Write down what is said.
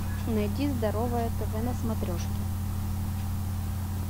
найди здоровое тв на смотрешке